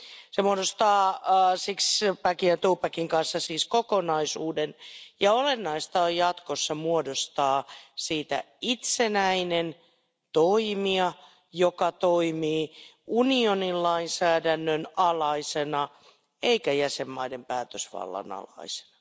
Se muodostaa sixpackin ja twopackin kanssa siis kokonaisuuden, ja olennaista on jatkossa muodostaa siitä itsenäinen toimija, joka toimii unionin lainsäädännön alaisena eikä jäsenmaiden päätösvallan alaisena.